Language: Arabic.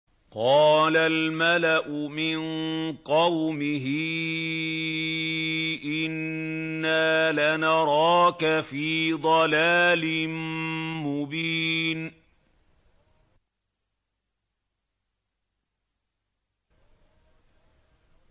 قَالَ الْمَلَأُ مِن قَوْمِهِ إِنَّا لَنَرَاكَ فِي ضَلَالٍ مُّبِينٍ